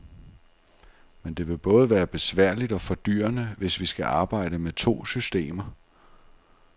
Men det vil både være besværligt og fordyrende, hvis vi skal arbejde med to systemer.